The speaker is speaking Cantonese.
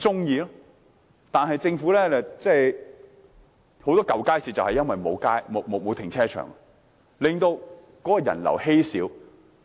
現時，許多舊街市正因沒有停車場，令人流稀少。